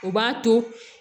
O b'a to